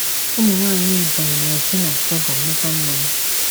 Ụmụnwaanyị Ebonyi na-esi na sorghum meta mmanya.